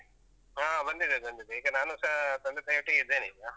ಹಾ, ಬಂದಿದೆ ಬಂದಿದೆ. ಈಗ ನಾನೂಸ ತಂದೆ ತಾಯಿಯೊಟ್ಟಿಗಿದ್ದೇನೆ ಈಗ.